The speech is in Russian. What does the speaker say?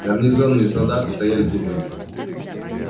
гарнизонные солдаты стояли тут же